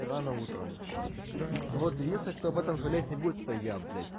рано утром вот и если кто об этом жалеть не будет это я блять